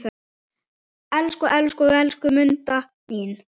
Elsku, elsku, elsku Munda mín.